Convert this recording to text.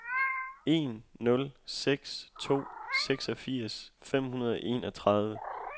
en nul seks to seksogfirs fem hundrede og enogtredive